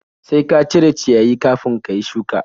Sai ka cire ciyayi kafin ka yi shuka!